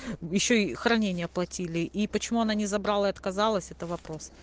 ещё и хранение оплатили и почему она не забрала и отказалась это вопрос